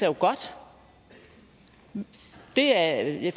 jo godt det er jeg